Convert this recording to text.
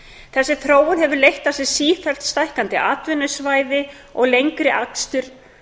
þessi þróun hefur leitt af sér sífellt stækkandi atvinnusvæði og lengri akstur